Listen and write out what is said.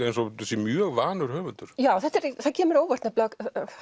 eins og hún sé mjög vanur höfundur já það kemur á óvart nefnilega